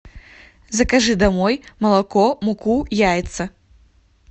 закажи домой молоко муку яйца